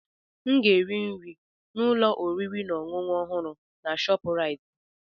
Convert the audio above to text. M ga-eri nri na ụlọ oriri na ọṅụṅụ ọhụrụ na Shopuraiti.